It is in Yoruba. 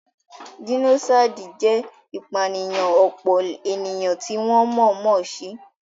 Jẹ́nósáìdì jẹ́ ìpànìyàn ọ̀pọ̀ ènìyàn tí wọ́n mọ̀ọ́ mọ̀ se